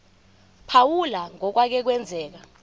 phawula ngokwake kwenzeka